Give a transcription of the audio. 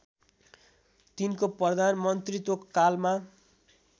तिनको प्रधानमन्त्रित्व कालमा